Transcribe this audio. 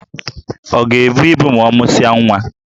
Ọ ga-ebu ibu ma ọ mụsịa nwa?